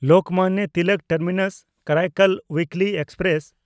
Lokmanya Tilak ᱴᱟᱨᱢᱤᱱᱟᱥ–ᱠᱟᱨᱟᱭᱠᱚᱞ ᱩᱭᱤᱠᱞᱤ express